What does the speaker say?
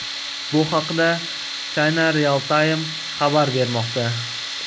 Bu haqda China Real Time xabar bermoqda .